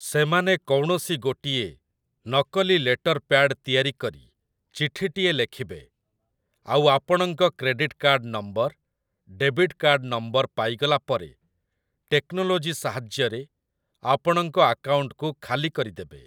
ସେମାନେ କୌଣସି ଗୋଟିଏ ନକଲି ଲେଟର୍ ପ୍ୟାଡ୍ ତିଆରି କରି ଚିଠିଟିଏ ଲେଖିବେ, ଆଉ ଆପଣଙ୍କ credit card number, debit card number ପାଇଗଲା ପରେ ଟେକ୍ନୋଲୋଜି ସାହାଯ୍ୟରେ ଆପଣଙ୍କ ଆକାଉଣ୍ଟକୁ ଖାଲିକରିଦେବେ।